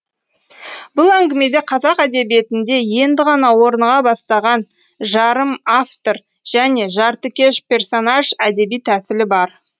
бұл әңгімеде қазақ әдебиетінде енді ғана орныға бастаған жарым автор және жартыкеш персонаж әдеби тәсілі бар